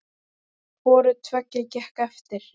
Hvoru tveggja gekk eftir.